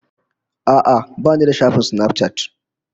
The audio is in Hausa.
A'a, ba ni da shafin Snapchat